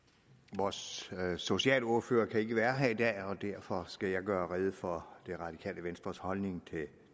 vores socialordfører kan ikke være her i dag og derfor skal jeg gøre rede for det radikale venstres holdning til